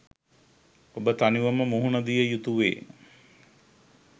ඔබ තනිවම මුහුණ දිය යුතුවේ.